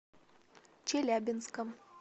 челябинском